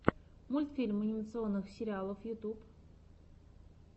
мультфильм анимационных сериалов ютуб